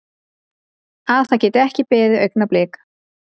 Að það geti ekki beðið augnablik.